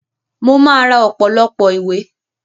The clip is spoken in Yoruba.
Mo máa ra ọ̀pọ̀lọpọ̀ ìwé